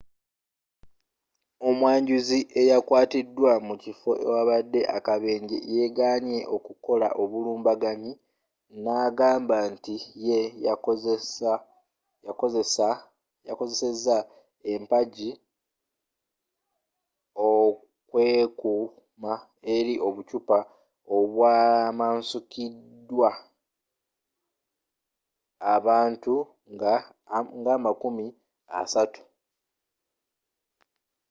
omwanjuzi eyakwatiddwa mu kifo ewabadde akabenje yeganye okukola obulumbaganyi n'agamba nti ye yakozeseza empagi okwekuuma eri obuccupa obwamukasukiddwa abantu nga amakumi asatu